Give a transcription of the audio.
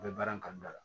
N bɛ baara in kanu la